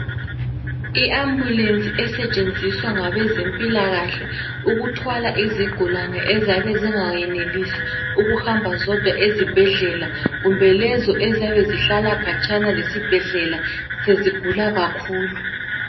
Iambulensi esetshenziswa ngabezempilakahle ukuthwala izigulane ezyabe zingayenelisi ukuhamba zodwa ezibhedlela kumbe lezo eziyabe zihlala khatshana lesibhedlela sezigula kakhulu.